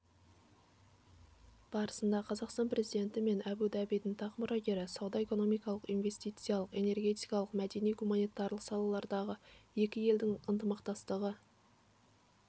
барысында қазақстан президенті мен абу-дабидің тақ мұрагері сауда-экономикалық инвестициялық энергетикалық мәдени-гуманитарлық салалардағы екі елдің ынтымақтастығы